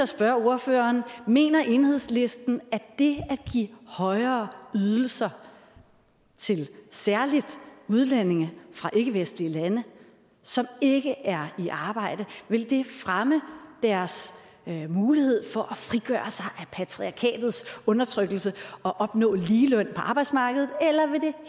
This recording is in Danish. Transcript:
spørge ordføreren mener enhedslisten at det at give højere ydelser til særlig udlændinge fra ikkevestlige lande som ikke er i arbejde vil fremme deres mulighed for af patriarkatets undertrykkelse og opnå ligeløn på arbejdsmarkedet eller vil det